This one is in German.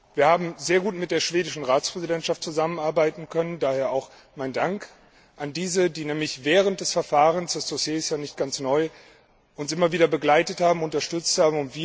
Wir haben sehr gut mit der schwedischen Ratspräsidentschaft zusammenarbeiten können, daher auch mein Dank an diese, die während des Verfahrens das Dossier ist ja nicht ganz neu uns immer wieder begleitet und unterstützt hat.